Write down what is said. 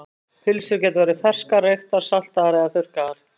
Pylsur geta verið ferskar, reyktar, saltaðar eða þurrkaðar.